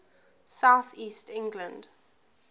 south east england